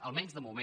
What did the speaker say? almenys de moment